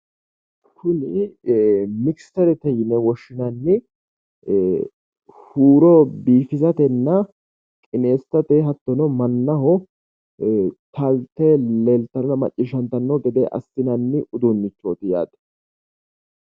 Tini mikischerete yine woshshinanni huuro biifisatenna qineessate hattono mannaho taalte leeltara maccishshantanno gede assinanni udunnichooti yaate.